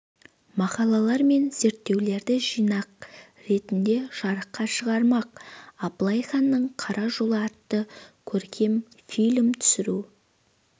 мақалалар мен зерттеулерді жинақ ретінде жарыққа шығармақ абылай ханның қара жолы атты көркем фильм түсіру